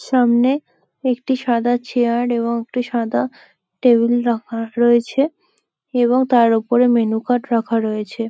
সামনে একটি সাদা চেয়ার এবং একটি সাদা টেবিল রাখা রয়েছে এবং তার উপরে মেনু কার্ড রাখা রয়েছে।